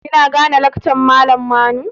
Kina gane lakcan malam Manu?